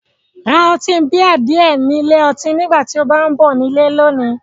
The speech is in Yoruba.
Ra ọtí bíà díẹ̀ ni ilé ọtí nígbà tí o bá ń bọ̀ ní ilé lónìí